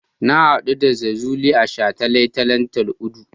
Na haɗu da Jazuli a shataletalen Tal'udu.